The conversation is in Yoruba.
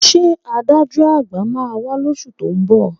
Ṣé adájọ́ à̀gbà máa wá lóṣù tó ń bọ̀?